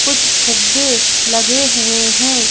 कुछ फुक्के लगे हुए हैं।